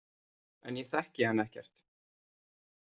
En ég þekki hann ekkert.